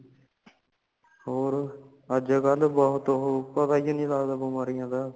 ਹੋਰ ਅੱਜ ਕਲ ਬਹੁਤ ਹੋ ਪਤਾ ਹੀ ਨਹੀਂ ਲੱਗਦਾ ਬਿਮਾਰੀਆਂ ਦਾ